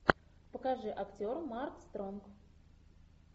покажи актер марк стронг